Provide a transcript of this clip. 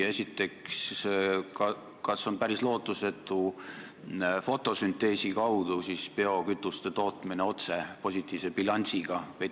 Esiteks, kas on päris lootusetu fotosünteesi kaudu toota biokütust otse positiivse bilansiga?